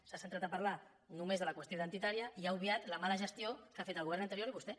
s’ha centrat a parlar només de la qüestió identitària i ha obviat la mala gestió que ha fet el govern anterior i vostè